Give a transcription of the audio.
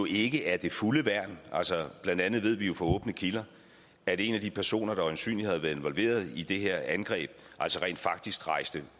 ikke er det fulde værn blandt andet ved vi fra åbne kilder at en de personer der øjensynlig havde været involveret i det her angreb altså rent faktisk rejste